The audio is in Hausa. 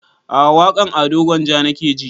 A'a waƙan ado gwanja nake ji